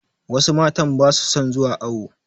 Wasu matan ba su son zuwa awo.